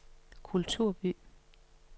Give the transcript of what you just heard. kulturby